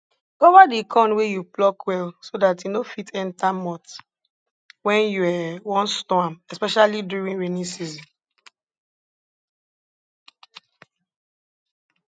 cover di corn wey you pluck well so dat e no fit enta moth wen you um wan store am especially during rainy season